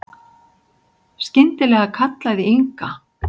Skyndilega kallaði Inga